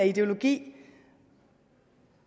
ideologi